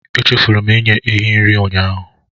Echefuru m inye ehi nri ụnyaahụ